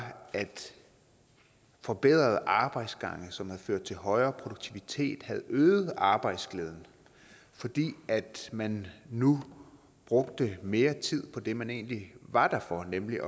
at forbedrede arbejdsgange som havde ført til højere produktivitet havde øget arbejdsglæden fordi man nu brugte mere tid på det man egentlig var der for nemlig